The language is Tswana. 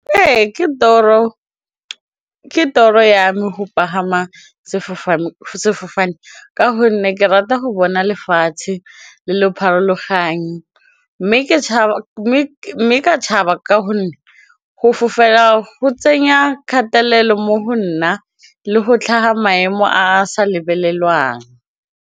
Ee, ke toro ya me go pagama sefofane ka gonne ke rata go bona lefatshe le le pharologanyo mme mme ka tshaba ka gonne go fofela go tsenya kgatelelo mo go nna le go tlhaga maemo a a sa lebelelwang.